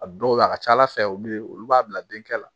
A dɔw bɛ a ka ca ala fɛ olu bɛ olu b'a bila denkɛ la